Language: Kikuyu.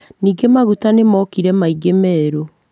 Ningĩ maguta nĩmokire maingĩ merũ